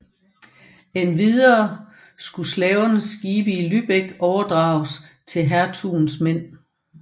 Endvidere skulle slavernes skibe i Lübeck overdrages til hertugens mænd